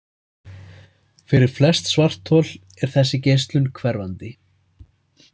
Fyrir flest svarthol er þessi geislun hverfandi.